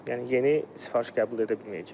Yəni yeni sifariş qəbul edə bilməyəcək.